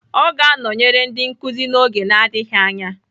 Ọ ga-anọnyere ndị nkuzi n'oge adịghị anya